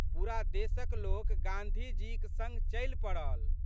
पूरा देशक लोक गाँधीजीक संग चलि पड़ल।